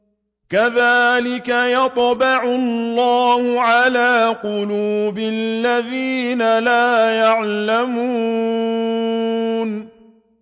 كَذَٰلِكَ يَطْبَعُ اللَّهُ عَلَىٰ قُلُوبِ الَّذِينَ لَا يَعْلَمُونَ